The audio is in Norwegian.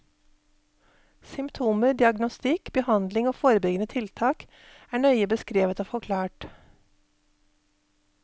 Symptomer, diagnostikk, behandling og forebyggende tiltak er nøye beskrevet og forklart.